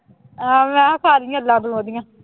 ਆਹੋ ਮੈਂ ਕਿਹਾ ਸਾਰੀਆਂ ਤੂੰ ਉਹਦੀਆਂ